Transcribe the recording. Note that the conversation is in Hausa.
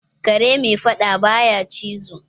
Kare mai fadda ba ya cizo.